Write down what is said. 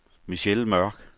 Michelle Mørk